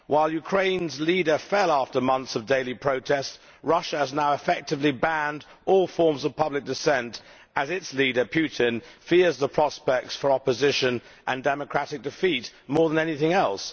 While Ukraine's leader fell after months of daily protests, Russia has now effectively banned all forms of public dissent, as its leader, Putin, fears the prospects for opposition and democratic defeat more than anything else.